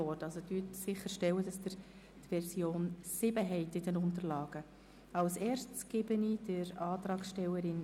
Stellen Sie sicher, dass Sie in Ihren Unterlagen die Version 7 haben.